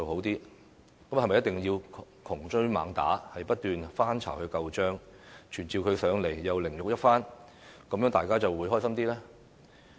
是否一定要窮追猛打，不斷翻她舊帳、傳召她來立法會凌辱一番，大家便會很高興呢？